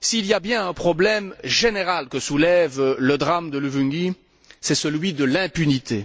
s'il y a bien un problème général que soulève le drame de Luvungi, c'est celui de l'impunité.